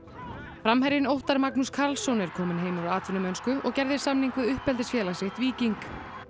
framherjinn Óttar Magnús Karlsson er kominn heim úr atvinnumennsku og gerði samning við uppeldisfélag sitt Víking